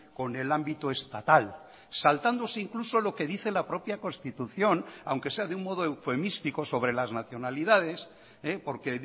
con el ámbito estatal saltándose incluso lo que dice la propia constitución aunque sea de un modo eufemístico sobre las nacionalidades porque